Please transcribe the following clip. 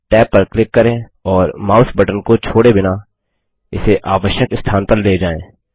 tab पर click करें और माउस बटन को छोड़े बिना इसे आवश्यक स्थान पर ले जाएँ